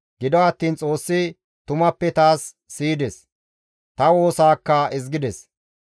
Gido attiin Xoossi tumappe taas siyides; ta woosaakka ezgides.